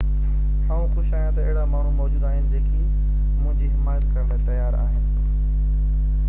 آئون خوش آهيان ته اهڙا ماڻهو موجود آهن جيڪي منهنجي حمات ڪرڻ لاءِ تيار آهن